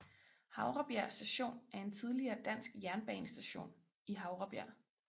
Havrebjerg Station er en tidligere dansk jernbanestation i Havrebjerg